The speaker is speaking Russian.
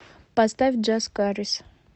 поставь джаз карис